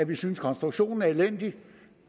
vi synes konstruktionen er elendig